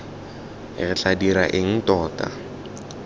re tla dira eng tota